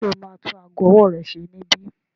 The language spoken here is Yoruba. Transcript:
Ṣe o ma tún ago ọwọ́ rẹ ṣe níbí?